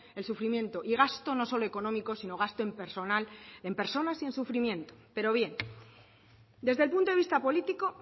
el sufrimiento y gasto no solo económico sino gasto en personal en personas y sufrimiento pero bien desde el punto de vista político